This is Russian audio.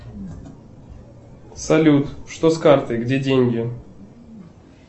салют что с картой где деньги